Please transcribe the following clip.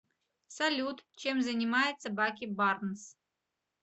салют чем занимается баки барнс